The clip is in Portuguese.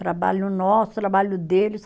Trabalho nosso, trabalho deles.